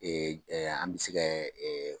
an bɛ se kɛ